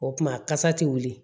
O tuma kasa ti wuli